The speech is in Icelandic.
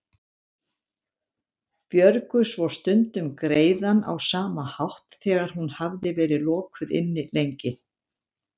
Björgu svo stundum greiðann á sama hátt þegar hún hafði verið lokuð inni lengi.